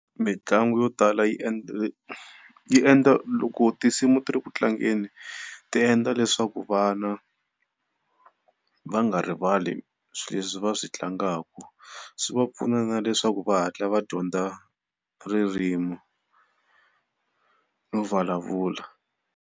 Mitlangu yo tala yi endla yi endla, loko tinsimu ti ri ku tlangeni ti endla leswaku vana va nga rivali swileswi va swi tlangaka, swi va pfuna na leswaku va hatla va dyondza ririmi no vulavula.